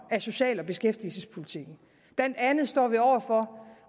af social og beskæftigelsespolitikken blandt andet står vi over for